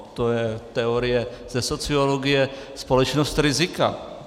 To je teorie ze sociologie - společnost rizika.